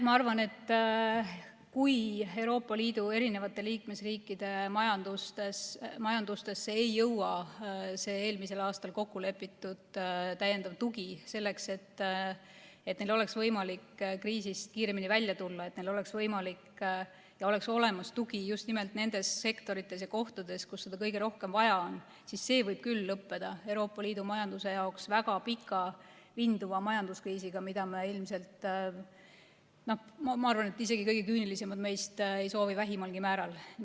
Ma arvan, et kui Euroopa Liidu liikmesriikide majandusse ei jõua see eelmisel aastal kokkulepitud täiendav tugi selleks, et neil oleks võimalik kriisist kiiremini välja tulla ja oleks olemas tugi just nimelt nendes sektorites ja kohtades, kus seda kõige rohkem vaja on, siis see võib küll lõppeda Euroopa Liidu majanduse jaoks väga pika ja vinduva majanduskriisiga, mida ilmselt isegi kõige küünilisemad meist ei soovi vähimalgi määral.